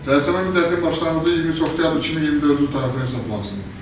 Cəzalanma müddəti başlanğıcı 23 oktyabr 2024-cü il tarixindən hesablansın.